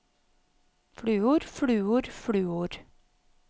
fluor fluor fluor